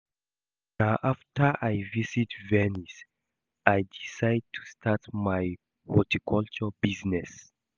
Na after I visit Venice I decide to start my horticulture business